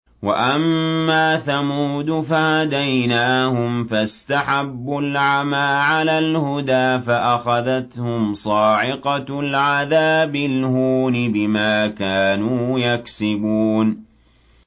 وَأَمَّا ثَمُودُ فَهَدَيْنَاهُمْ فَاسْتَحَبُّوا الْعَمَىٰ عَلَى الْهُدَىٰ فَأَخَذَتْهُمْ صَاعِقَةُ الْعَذَابِ الْهُونِ بِمَا كَانُوا يَكْسِبُونَ